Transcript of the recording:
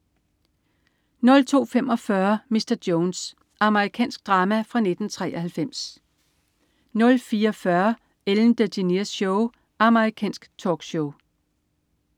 02.45 Mr. Jones. Amerikansk drama fra 1993 04.40 Ellen DeGeneres Show. Amerikansk talkshow